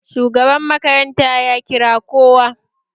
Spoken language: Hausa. Shugaban makaranta ya kira kowa